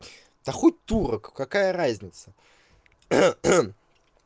та хоть турок какая разница